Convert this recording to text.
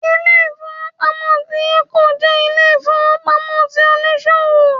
Ilé-ìfowópamọ́ ti 'Eco' jẹ́ Ilé-ìfowópamọ́ ti oníṣòwò